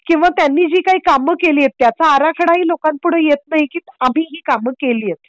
किंवा त्यांनी जी काही काम केले आहे त्याचा आराखडा ही लोकांपुढे येत नाही की आम्ही काम केली आहेत.